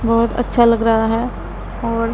बहोत अच्छा लग रहा है और--